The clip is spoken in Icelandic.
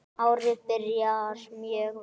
Árið byrjar mjög vel.